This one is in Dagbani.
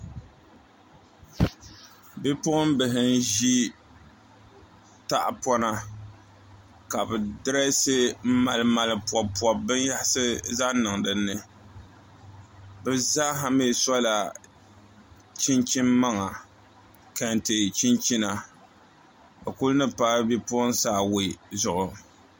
Bipuɣimbihi n-ʒi tahipɔna ka bɛ dirɛɛsi m-malimali pɔbipɔbi binyɛrisi zaŋ niŋ din ni bɛ zaaha mi sɔla chinchin' maŋa kante chinchina bɛ kuli ni paai bipuɣinsi awai zuɣu